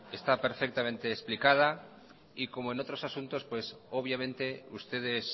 está perfectamente explicada y como en otros asuntos obviamente ustedes